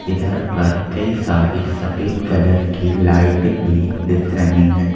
इधर पर कई सारी सफेद कलर की लाइट भी दिख रही हैं।